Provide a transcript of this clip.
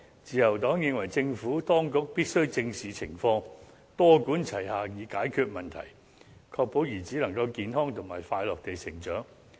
自由黨認為政府當局必須正視情況，多管齊下以解決問題，確保孩子能夠健康和快樂地成長。